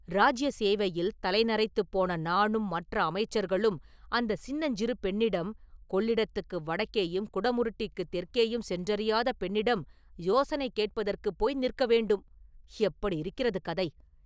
இராஜ்ய சேவையில் தலை நரைத்துப் போன நானும் மற்ற அமைச்சர்களும் அந்தச் சின்னஞ்சிறு பெண்ணிடம் கொள்ளிடத்துக்கு வடக்கேயும் குடமுருட்டிக்குத் தெற்கேயும் சென்றறியாத பெண்ணிடம் யோசனை கேட்பதற்குப் போய் நிற்க வேண்டும்; எப்படியிருக்கிறது கதை!